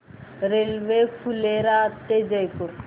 railway Phulera ते जयपूर